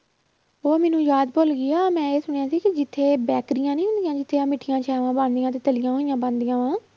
ਉਹ ਮੈਨੂੰ ਯਾਦ ਭੁੱਲ ਗਈ, ਹਾਂ ਮੈਂ ਇਹ ਸੁਣਿਆ ਸੀ ਕਿ ਜਿੱਥੇ ਬੈਕਰੀਆਂ ਨੀ ਹੁੰਦੀਆਂ ਜਿੱਥੇ ਆਹ ਮਿੱਠੀਆਂ ਬਣਦੀਆਂ ਤੇ ਤਲੀਆਂ ਹੋਈਆਂ ਬਣਦੀਆਂ ਵਾਂ